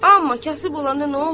Amma kasıb olanda nə olar?